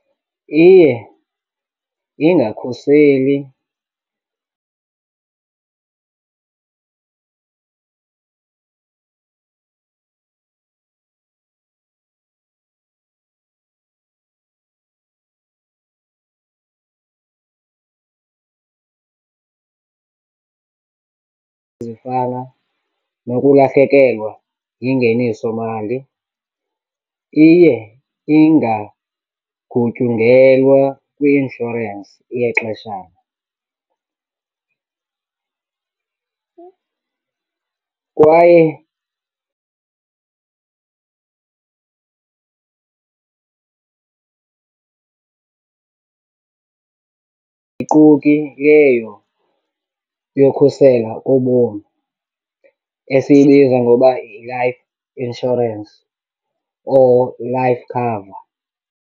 Iye ingakhuseli, zifana nokulahlekelwa yingeniso mali. Iye ingagutyungelwa kwi-inshorensi yexeshana kwaye leyo yokhusela obomi esiyibiza ngoba yi-life insurance or life cover.